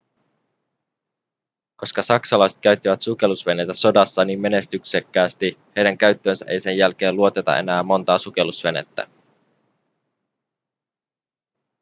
koska saksalaiset käyttivät sukellusveneitä sodassa niin menestyksekkäästi heidän käyttöönsä ei sen jälkeen luoteta enää montaa sukellusvenettä